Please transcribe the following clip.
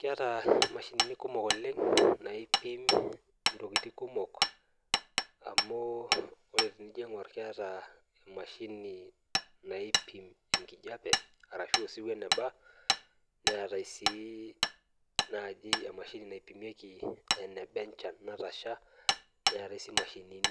keeta imashinini naipim itokitin kumok amu ore tinijo aipim enkijape ashuu osiwuo eneba, netae sii emashini naipimieki enchan eneba, netae sii